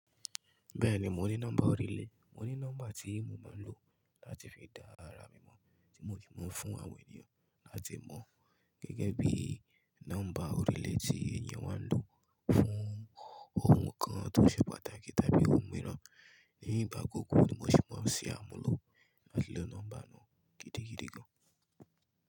Bẹ́ẹ̀ni mo ní nọ́mbà ọ̀rílẹ̀, mo ní nọ́mbà tí mo máa ń lò láti fi dá ara mi mọ̀ tí mo kì í máa ń fún àwọn ènìyàn láti mọ̀ gẹ́gẹ́ bí nọ́mbà ọ̀rílẹ̀ tí èèyàn máa ń lò fún ohun kan tó ṣe pàtàkì tàbí ohun mìíràn. Ní ìgbà gbogbo ni mo sì máa ń ṣe àmúlò láti lo nọ́mbà náà gidigidi gan.